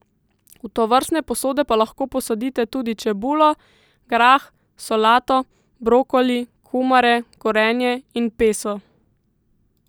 V tovrstne posode pa lahko posadite tudi čebulo, grah, solato, brokoli, kumare, korenje in peso.